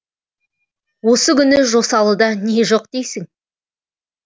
осы күні жосалыда не жоқ дейсің